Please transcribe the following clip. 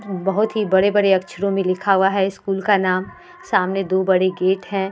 बहुत ही बड़े-बड़े अक्षरों में लिखा हुआ है स्कूल का नाम। सामने दो बड़े गेट हैं।